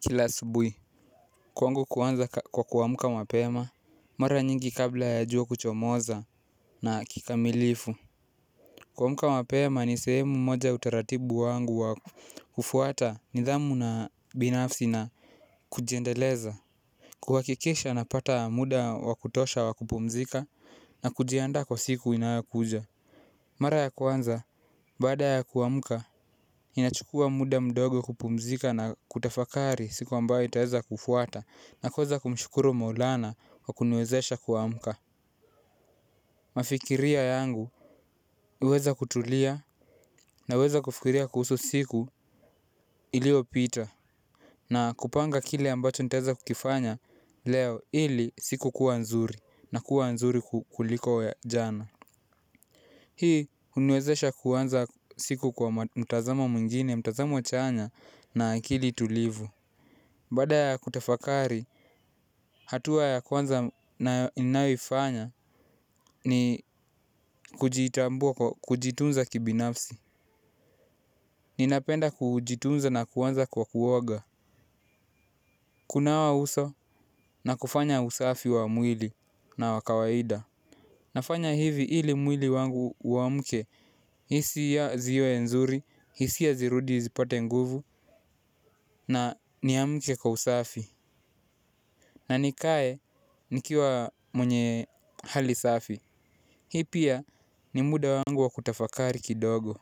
Kila asubuhi. Kwangu kuanza kwa kuamka mapema. Mara nyingi kabla ya jua kuchomoza. Na kikamilifu kuamka wapema ni sehemu moja ya utaratibu wangu wa. Kufuata, nidhamu na binafsi na. Kujiendeleza. Kuhakikisha napata muda wa kutosha wa kupumzika. Na kujiandaa kwa siku inayokuja. Mara ya kwanza. Baada, ya kuamka. Inachukua muda mdogo kupumzika na kutafakari siku ambayo itaweza kufuata. Na kuweza kumshukuru Maulana, kwa kuniwezesha kuamka. Mafikirio yangu. Huweza kutulia. Naweza kufikiria kuhusu siku. Iliopita. Na kupanga kile ambacho nitaweza kukifanya. Leo, ili siku kuwa nzuri, na kuwa nzuri kuliko jana. Hii, uniwezesha kuanza. Siku kwa mtazamo mwingine mtazamo chanya. Na akili tulivu. Baada ya kutafakari. Hatua ya kwanza nayo ifanya. Ni. Kujitambuwa kujitunza kibinafsi. Ninapenda kujitunza na kuanza kwa kuoaga. Kunawa uso. Na kufanya usafi wa mwili. Na wa kawaida. Nafanya hivi hili mwili wangu uamke, hisia ziwe nzuri, hisi ya zirudi zipate nguvu. Na ni amke kwa usafi. Na nikae. Nikiwa. Mwenye. Hali safi. Hii pia. Ni muda wangu wa kutafakari kidogo.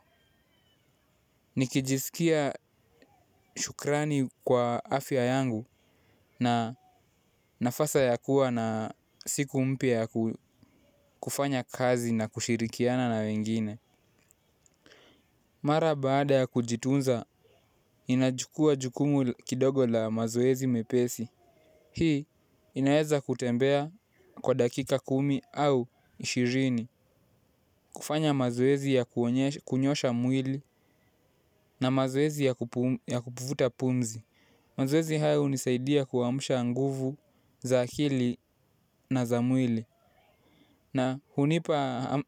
Nikijisikia. Shukrani kwa afya yangu. Na nafasi ya kuwa na siku mpya. Kufanya kazi na kushirikiana na wengine. Mara baada ya kujitunza. Ninachukua jukumu kidogo la mazoezi mepesi. Hii inaweza kutembea, kwa dakika kumi au ishirini. Kufanya mazoezi ya kunyosha mwili. Na mazoezi ya kuvuta pumzi. Mazoezi haya hunisaidia kuamsha nguvu, za akili, na za mwili. Na hunipa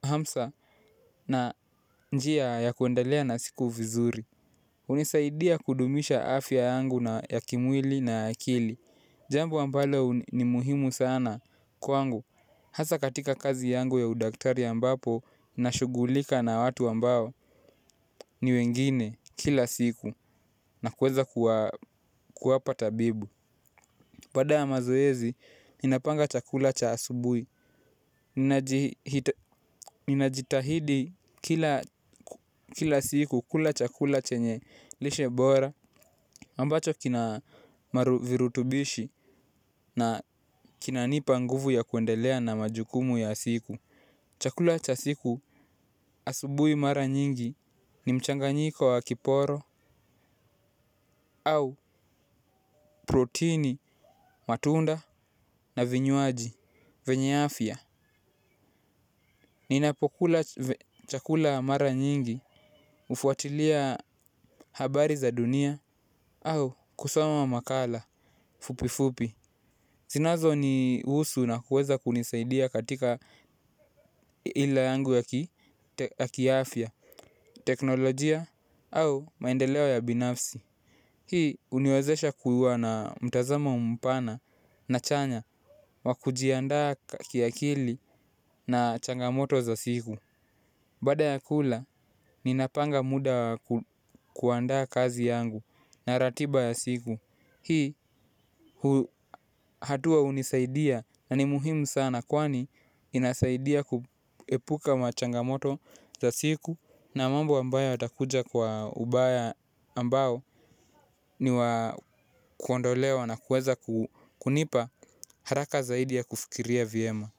hamsa. Na njia ya kuendelea na siku vizuri. Hunisaidia kudumisha afya yangu, na ya kimwili na ya akili. Jambo ambalo, ni muhimu sana. Kwangu. Hasaa katika kazi yangu ya udaktari ambapo, nashugulika na watu ambao. Ni wengine kila siku. Na kuweza, kuwapa tabibu. Baada ya mazoezi. Ninapanga chakula cha asubuhi. Ninajitahidi. Kila siku kula chakula chenye, lishe bora. Ambacho kina. Virutubishi. Na. Kinanipa nguvu ya kuendelea na majukumu ya siku. Chakula cha siku. Asubuhi mara nyingi, ni mchanganyiko wa kiporo. Au. Protini, matunda na vinywaji vyenye afia. Ninapokula chakula mara nyingi. Hufuatilia. Habari za dunia, au kusoma makala, fupifupi. Zinazo ni husu na kuweza kunisaidia katika. Ile yangu ya ki afia, teknolojia au maendeleo ya binafsi. Hii huniwezesha kuwa na mtazamo mpana. Na chanya. Wa kujiandaa kakiakili, na changamoto za siku. Baada ya kula. Ninapanga muda wa. Kuandaa kazi yangu, na ratiba ya siku. Hii. Hatua hunisaidia na ni muhimu sana kwani, inasaidia kuepuka machangamoto za siku. Na mambo ambayo yatakuja kwa ubaya ambao. Ni wa. Kuondolewa na kuweza kunipa. Haraka zaidi, ya kufikiria vyema.